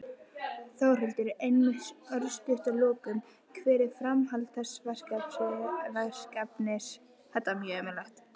Þórhildur: Einmitt, örstutt að lokum, hvert er framhald þessa verkefnis?